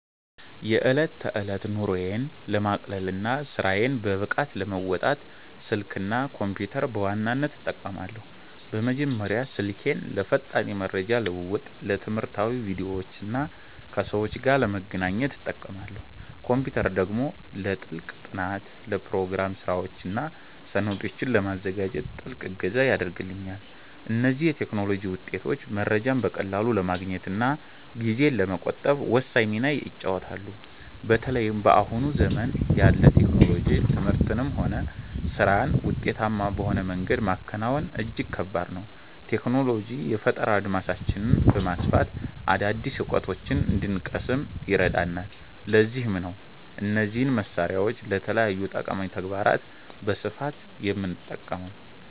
የዕለት ተዕለት ኑሮዬን ለማቅለልና ስራዬን በብቃት ለመወጣት፣ ስልክና ኮምፒተርን በዋናነት እጠቀማለሁ። በመጀመሪያ ስልኬን ለፈጣን የመረጃ ልውውጥ፣ ለትምህርታዊ ቪዲዮዎችና ከሰዎች ጋር ለመገናኛነት እጠቀማለሁ። ኮምፒተር ደግሞ ለጥልቅ ጥናት፣ ለፕሮግራም ስራዎችና ሰነዶችን ለማዘጋጀት ትልቅ እገዛ ያደርግልኛል። እነዚህ የቴክኖሎጂ ውጤቶች መረጃን በቀላሉ ለማግኘትና ጊዜን ለመቆጠብ ወሳኝ ሚና ይጫወታሉ። በተለይም በአሁኑ ዘመን ያለ ቴክኖሎጂ ትምህርትንም ሆነ ስራን ውጤታማ በሆነ መንገድ ማከናወን እጅግ ከባድ ነው። ቴክኖሎጂ የፈጠራ አድማሳችንን በማስፋት አዳዲስ እውቀቶችን እንድንቀስም ይረዳናል፤ ለዚህም ነው እነዚህን መሳሪያዎች ለተለያዩ ጠቃሚ ተግባራት በስፋት የምጠቀመው።